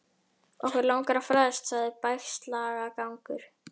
Okkur langar að fræðast sagði Bægslagangur.